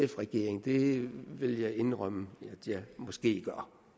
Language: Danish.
regering det vil jeg indrømme at jeg måske gør